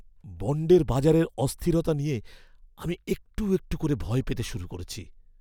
বণ্ডের বাজারের অস্থিরতা নিয়ে আমি একটু একটু করে ভয় পেতে শুরু করেছি।